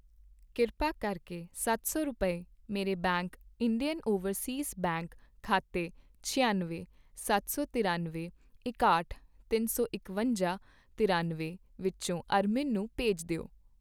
ਕਿਰਪਾ ਕਰਕੇ ਸੱਤ ਸੌ ਰੁਪਏ, ਮੇਰੇ ਬੈਂਕ ਇੰਡੀਅਨ ਓਵਰਸੀਜ਼ ਬੈਂਕ ਖਾਤੇ ਛਿਆਨਵੇਂ, ਸੱਤ ਸੌ ਤਿਰਾਨਵੇਂ, ਇਕਾਹਠ, ਤਿੰਨ ਸੌ ਇਕਵੰਜਾਂ, ਤਿਰਾਨਵੇਂ ਵਿਚੋਂ ਅਰਮਿਨ ਨੂੰ ਭੇਜ ਦਿਓ